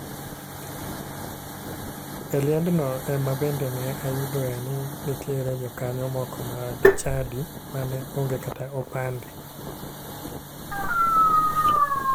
E liendno ema bende ne ayudoe ni nitiere jokanyo moko mag chadi mane onge kata opande.